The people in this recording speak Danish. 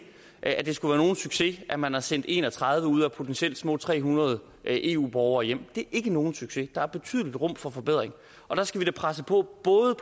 at det skulle være nogen succes at man har sendt en og tredive ud af potentielt små tre hundrede eu borgere hjem det er ikke nogen succes der er et betydeligt rum for forbedring og der skal vi da presse på både